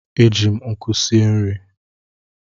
E ji m nkụ sie nri.